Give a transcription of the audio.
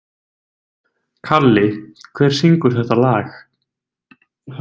Kalli, hver syngur þetta lag?